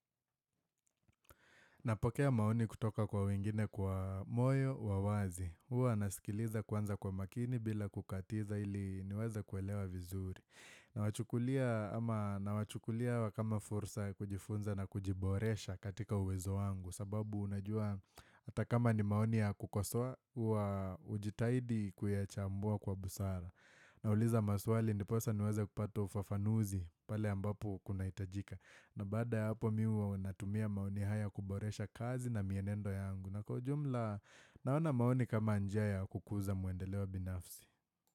Napokea maoni kutoka kwa wengine kwa moyo wa uwazi. Huwa nasikiliza kwanza kwa makini bila kukatiza ili niweza kuelewa vizuri. Nawachukulia kama fursa ya kujifunza na kujiboresha katika uwezo wangu. Sababu unajua hata kama ni maoni ya kukosoa, huwa ujitahidi kuyachambua kwa busara. Nauliza maswali ndiposa niweze kupata ufafanuzi pale ambapo kunahitajika. Na baada ya hapo mi huwa natumia maoni haya kuboresha kazi na mienendo yangu na kwa ujumla naona maoni kama njia ya kukuza muendeleo wa binafsi.